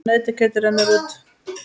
Nautakjötið rennur út